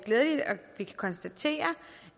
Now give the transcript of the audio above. vi kan konstatere